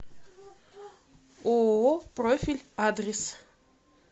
ооо профиль адрес